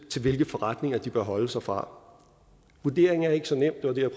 til hvilke forretninger de bør holde sig fra vurderingen er ikke så nem det var det